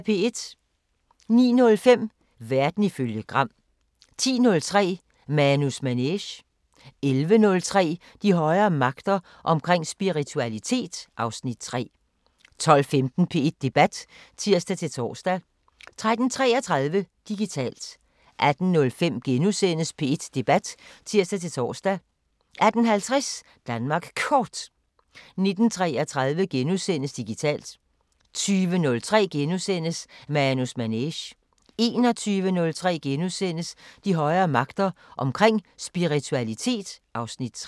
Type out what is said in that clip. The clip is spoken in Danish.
09:05: Verden ifølge Gram 10:03: Manus Manege 11:03: De højere magter: Omkring spiritualitet (Afs. 3) 12:15: P1 Debat (tir-tor) 13:33: Digitalt 18:05: P1 Debat *(tir-tor) 18:50: Danmark Kort 19:33: Digitalt * 20:03: Manus Manege * 21:03: De højere magter: Omkring spiritualitet (Afs. 3)*